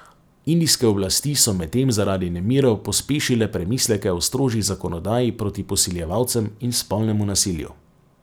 Indijske oblasti so medtem zaradi nemirov pospešile premisleke o strožji zakonodaji proti posiljevalcem in spolnemu nasilju.